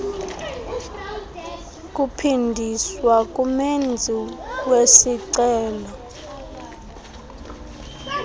kuphindiswa kumenzi wesicelo